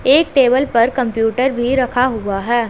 एक टेबल पर कंप्यूटर भी रखा हुआ है।